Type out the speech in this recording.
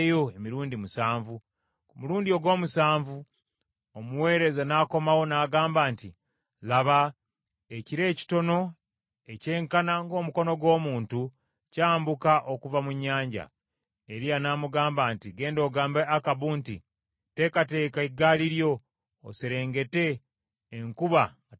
Ku mulundi ogw’omusanvu omuweereza n’akomawo n’agamba nti, “Laba, ekire ekitono ekyenkana ng’omukono gw’omuntu kyambuka okuva mu nnyanja.” Eriya n’amugamba nti, “Genda ogambe Akabu nti, ‘Teekateeka eggaali lyo, oserengete, enkuba nga tennakuziyiza.’ ”